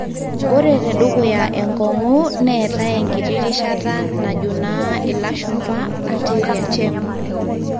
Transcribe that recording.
ore tedukuya engong'u neetae enkiti rishata najo naa ilashumba anterior chamber